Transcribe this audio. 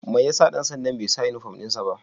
Mai ya sa dan sanda'n bai sa uniform din sa ba?